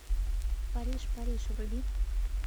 париж париж вруби